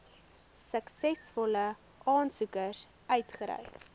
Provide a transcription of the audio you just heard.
suksesvolle aansoekers uitgereik